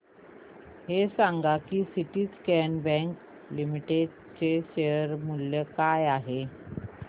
हे सांगा की सिंडीकेट बँक लिमिटेड चे शेअर मूल्य काय आहे